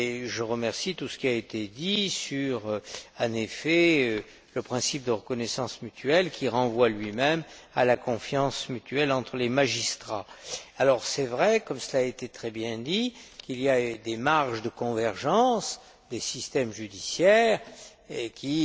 je salue tout ce qui a été dit, notamment sur le principe de reconnaissance mutuelle, qui renvoie lui même à la confiance mutuelle entre les magistrats. Il est vrai, comme cela a été très bien dit, qu'il y a des marges de convergence des systèmes judiciaires qui,